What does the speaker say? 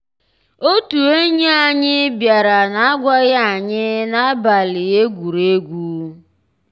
ótú ényí ànyị́ biàrà n'àgwàghị́ ànyị́ n'àbàlí égwùrégwù.